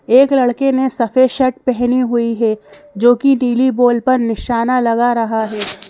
एक लड़के ने सफेद शर्ट पहनी हुई है जोकि नीली बॉल पर निशाना लगा रहा है।